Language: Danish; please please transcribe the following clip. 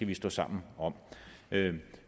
vi stå sammen om